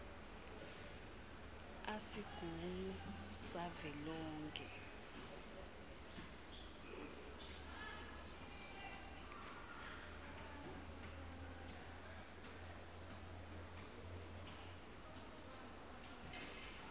a sigungu savelonkhe